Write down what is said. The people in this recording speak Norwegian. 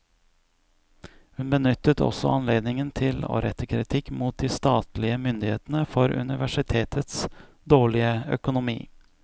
Hun benyttet også anledningen til å rette kritikk mot de statlige myndighetene for universitetets dårlige økonomi.